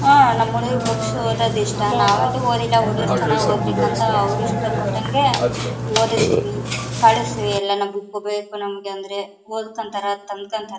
ಆಹ್ಹ್ ನಮ್ ಹುಡುಗ್ರಿಗೆ ಬುಕ್ಸ್ ಓದೋದು ಇಷ್ಟ. ನಾವಂತೂ ಓದಿಲ್ಲ ಹುಡುಗ್ರು ಚೆನ್ನಾಗ್ ಒದ್ಬೇಕು ಅಂತ ಅವರಿಷ್ಟ ಪಟ್ಟಂಗೆ ಒದಿಸ್ದವಿ ಬುಕ್ ಬೇಕು ನಮಗೆ ಅಂದ್ರೆ ಓದ್ಕಂತರ ತಂದ್ ಕಾಂತಾರ.